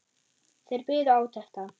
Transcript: Þeir biðu átekta.